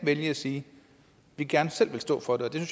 vælge at sige at de gerne selv vil stå for det